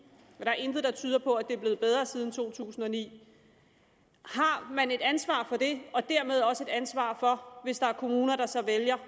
det er intet der tyder på at det er blevet bedre siden to tusind og ni har man et ansvar for det og dermed også et ansvar hvis der er kommuner der så vælger